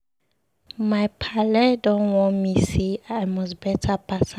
My paale don warn me sey I must beta pass am.